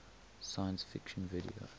science fiction video